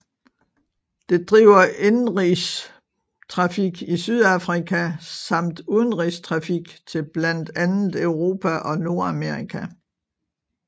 Det driver indenrigstrafik i Sydafrika samt udenrigstrafik til blandt andet Europa og Nordamerika